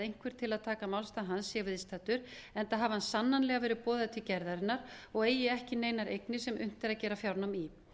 einhver til að taka málstað hans sé viðstaddur enda hafi hann sannanlega verið boðaður til gerðarinnar og eigi ekki neinar eignir sem unnt er að gera fjárnám í